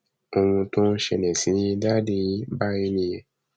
ohun tó ń ṣẹlẹ sí dádì yín báyìí nìyẹn